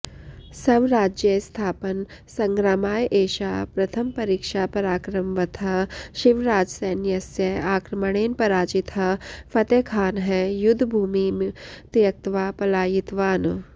स्वराज्यस्थापनसङ्ग्रामाय एषा प्रथमपरीक्षा पराक्रमवतः शिवराजसैन्यस्य आक्रमणेन पराजितः फतेखानः युध्दभूमिं त्य्क्त्वा पलायितवान्